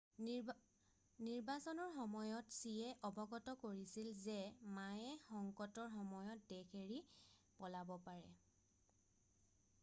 নিৰ্বাচনৰ সময়ত চিয়ে অৱগত কৰিছিল যে মায়ে সংকটৰ সময়ত দেশ এৰি পলাব পাৰে